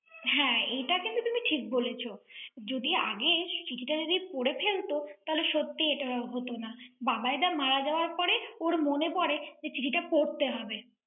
হ্যাঁ, এটা কিন্তু তুমি ঠিক বলেছো। যদি আগেই যদি আগে চিঠিটা যদি পরে ফেলত, তাহলে সত্যিই এটা হত না। বাবাইদা মারা যাওয়ার পরে, ওর মনে পড়ে যে চিঠিটা পড়তে হবে।